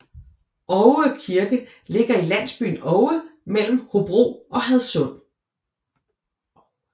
Oue Kirke ligger i landsbyen Oue mellem Hobro og Hadsund